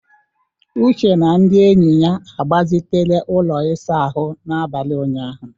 Uche na ndị enyi ya agbazitela ụlọ ịsa ahụ n'abalị ụnyaahụ